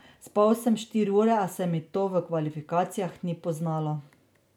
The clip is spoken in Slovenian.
Spal sem štiri ure, a se mi to v kvalifikacijah ni poznalo.